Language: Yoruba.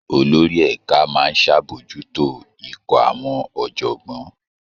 Olórí ẹ̀ka máa ń ṣàbòjútó ikọ̀ àwọn ọ̀jọ̀gbọ́n